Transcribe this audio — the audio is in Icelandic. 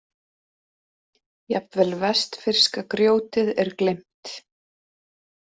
Jafnvel vestfirska grjótið er gleymt.